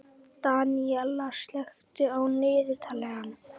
Daníella, slökktu á niðurteljaranum.